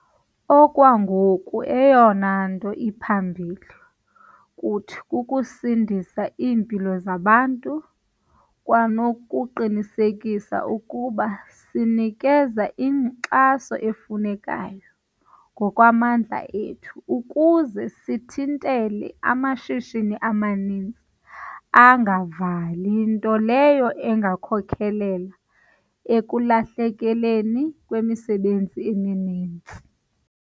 Okwangoku, eyona nto iphambili kuthi kukusindisa iimpilo zabantu kwanokuqinisekisa ukuba sinikezela ngenkxaso efunekayo, ngokwamandla ethu, ukuze sithintele amashishini amaninzi angavali nto leyo engakhokelela ekulahlekeni kwemisebenzi emininzi.